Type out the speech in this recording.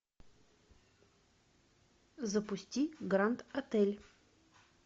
запусти гранд отель